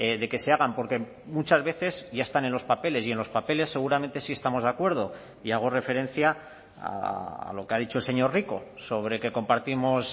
de que se hagan porque muchas veces ya están en los papeles y en los papeles seguramente sí estamos de acuerdo y hago referencia a lo que ha dicho el señor rico sobre que compartimos